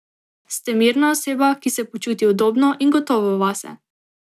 Ste mirna oseba, ki se počuti udobno in gotovo vase.